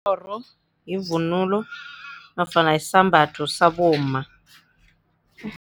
Ikghororo yivunulo nofana yisambatho sabomma.